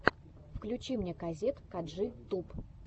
включи мне казет каджи туб